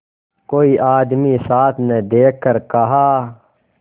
कोई आदमी साथ न देखकर कहा